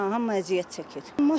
Hə, hamı əziyyət çəkir.